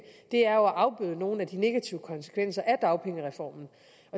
er jo at afbøde nogle af de negative konsekvenser af dagpengereformen